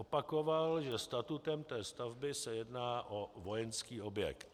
Opakoval, že statutem té stavby se jedná o vojenský objekt.